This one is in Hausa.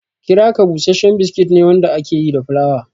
Kiraka bushashshen biskit ne wanda aka yi da fulawa.